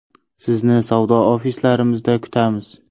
Sizni savdo ofislarimizda kutamiz.